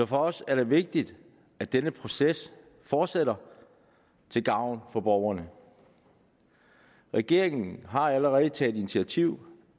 for os er det vigtigt at denne proces fortsætter til gavn for borgerne regeringen har allerede taget initiativ